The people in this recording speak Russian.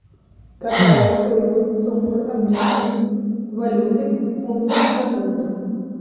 какая стоимость суммы обмена валюты фунты на фунты